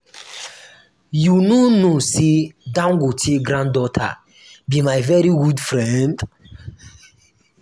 you no know say dangote granddaughter be my very good friend